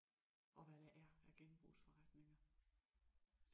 Og hvad der er af genbrugsforretninger!